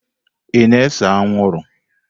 Ị na-ese anwụrụ?